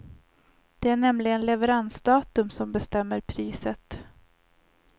Det är nämligen leveransdatum som bestämmer priset.